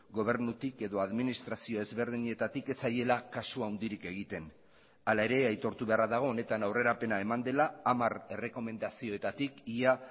gobernutik edo administrazio ezberdinetatik ez zaiela kasu handirik egiten hala ere aitortu beharra dago honetan aurrerapena eman dela hamar errekomendazioetatik ia